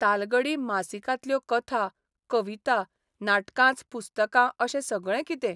तालगडी मासिकांतल्यो कथा, कविता, नाटकांच पुस्तकां अशें सगळें कितें.